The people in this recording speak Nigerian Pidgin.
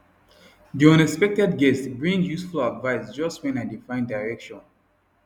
the unexpected guest bring useful advice just when i dey find direction